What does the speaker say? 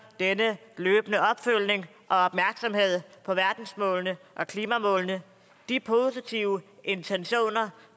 denne løbende opfølgning og opmærksomhed på verdensmålene og klimamålene de positive intentioner